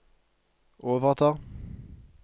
overtar